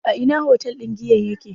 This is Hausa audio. A ina otal ɗin giyar yake?